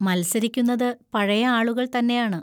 മത്സരിക്കുന്നത് പഴയ ആളുകൾ തന്നെയാണ്.